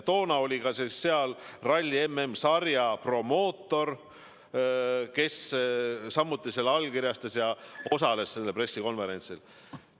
Toona oli seal kohal ka ralli MM-sarja promootor, kes samuti selle allkirjastas ja osales hiljem pressikonverentsil.